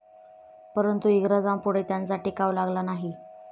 परंतु इंग्रजांपूढे त्यांचा टिकाव लागला नाही.